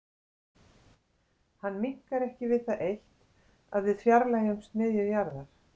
Hann minnkar ekki við það eitt að við fjarlægjumst miðju jarðar.